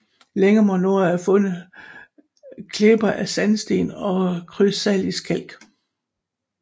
Længere mod nord er fundet klipper af sandsten og krystallinsk kalk